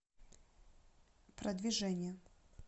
продвижение